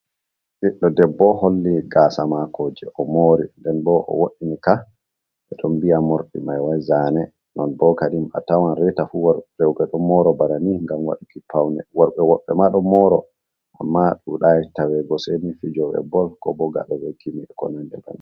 Ɓiɗɗo debbo holli gasa mako je o mori nden bo o woini ka, ɓeɗon mbiya morɗi mai wai zane, non bokadi a tawan reta fu roɓe ɗo moro bana ni ngam waduki pawne, worɓe woɗɓe maɗo moro amma ɗuɗai tawego seni fijobe bol ko bo ngaɗo gimi ko nandi bannin.